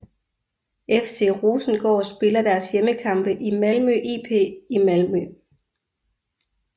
FC Rosengård spiller deres hjemmekampe i Malmö IP i Malmö